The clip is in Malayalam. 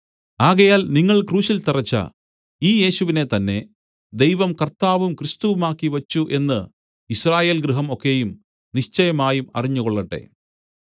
ആകയാൽ നിങ്ങൾ ക്രൂശിൽ തറച്ച ഈ യേശുവിനെ തന്നേ ദൈവം കർത്താവും ക്രിസ്തുവുമാക്കിവച്ചു എന്ന് യിസ്രായേൽഗൃഹം ഒക്കെയും നിശ്ചയമായി അറിഞ്ഞുകൊള്ളട്ടെ